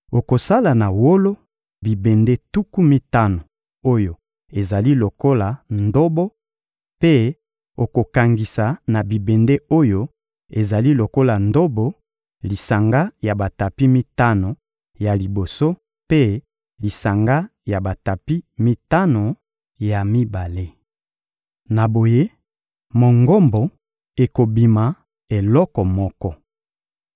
Okosala na wolo bibende tuku mitano oyo ezali lokola ndobo; mpe okokangisa na bibende oyo ezali lokola ndobo lisanga ya batapi mitano ya liboso mpe lisanga ya batapi mitano ya mibale. Na boye, Mongombo ekobima eloko moko.